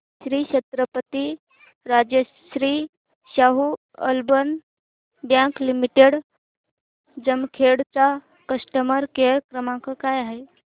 Shri Chhatrapati Rajashri Shahu urban bank limited Jamkhed चा customer care क्रमांक काय आहे